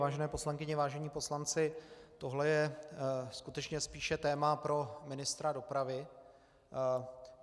Vážené poslankyně, vážení poslanci, tohle je skutečně spíše téma pro ministra dopravy.